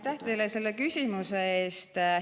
Aitäh teile selle küsimuse eest!